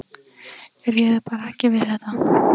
Ég réði bara ekki við þetta.